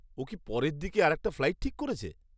ও কি পরের দিকে আরেকটা ফ্লাইট ঠিক করেছে?